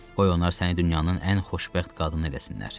Qoy onlar səni dünyanın ən xoşbəxt qadını eləsinlər.